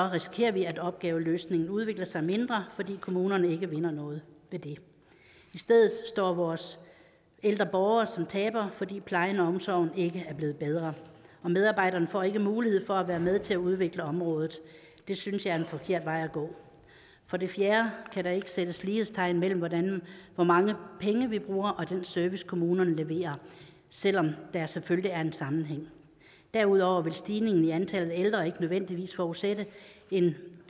risikerer vi at opgaveløsningen udvikler sig mindre fordi kommunerne ikke vinder noget ved det i stedet står vores ældre borgere som tabere fordi plejen og omsorgen ikke er blevet bedre og medarbejderne får ikke muligheden for at være med til at udvikle området det synes jeg er en forkert vej at gå for det fjerde kan der ikke sættes lighedstegn mellem hvor mange penge vi bruger og den service kommunerne leverer selv om der selvfølgelig er en sammenhæng derudover vil stigningen i antallet af ældre ikke nødvendigvis forudsætte en